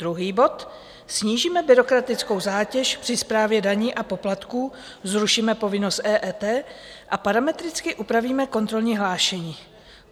Druhý bod - snížíme byrokratickou zátěž při správě daní a poplatků, zrušíme povinnost EET a parametricky upravíme kontrolní hlášení.